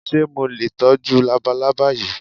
Ṣé mo lè tọ́jú labalábá yìí?